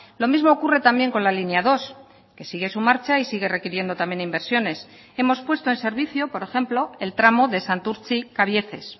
lo mismo ocurre también con la línea dos que sigue su marcha y sigue requiriendo también inversiones hemos puesto en servicio por ejemplo el tramo de santurtzi cabieces